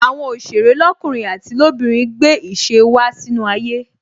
Àwọn òsèré lọkunrin àti lobinrin gbé ìṣe wá sínú ayé